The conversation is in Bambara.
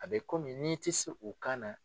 A bɛ komi n'i tɛ se u kan na.